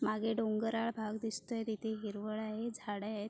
मागे डोंगराळ भाग दिसतोय तिथ हिरवळ झाडे आहेत.